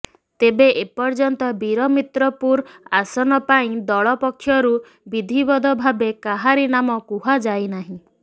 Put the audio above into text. ତେବେ ଏପର୍ଯ୍ୟନ୍ତ ବୀରମିତ୍ରପୁର ଆସନ ପାଇଁ ଦଳ ପକ୍ଷରୁ ବିଧିବଦ୍ଧ ଭାବେ କାହାରି ନାମ କୁହାଯାଇନାହିଁ